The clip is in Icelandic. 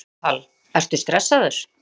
Elísabet Hall: Ertu stressaður?